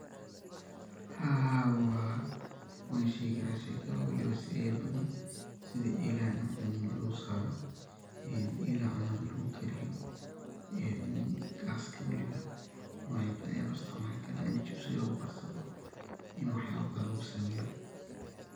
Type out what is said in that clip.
haa wan shegi karaa shey kale oo weliba siyaba badan sida eelahan cunada lugu saaro, een eelaha cunada lugu kariyo, een gaska weliba nocya badan aya loo isticmaali karaa, ini chipsiga lugu karsada, ini wax yaba badan lugu qabsado